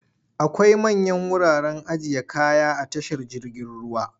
Akwai manyan wuraren ajiye kaya a tashar jirgin ruwa.